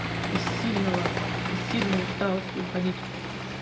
из сильного из сильной усталости уходить в